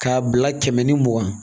K'a bila kɛmɛ ni mugan